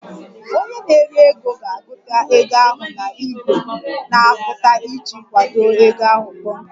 Onye na-ere ego ga-agụta ego ahụ na igwe na-agụta iji kwado ego ahụ kpọmkwem